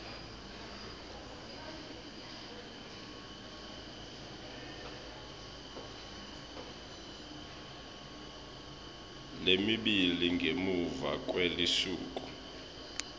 lemibili ngemuva kwelusuku